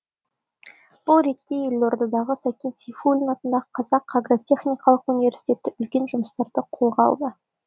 бұл ретте елордадағы сәкен сейфуллин атындағы қазақ агротехникалық университеті үлкен жұмыстарды қолға алды